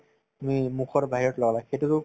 তুমি মুখৰ বাহিৰত লগাবা সেইটোতো